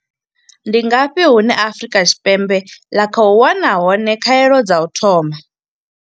Ndi ngafhi hune Afrika tshi Ndi ngafhi hune Afrika Tshipembe ḽa khou wana hone pembe ḽa khou wana hone khaelo dza u thoma?